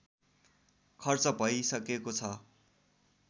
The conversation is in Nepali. खर्च भइसकेको छ